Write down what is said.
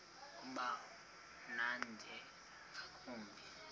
uba mnandi ngakumbi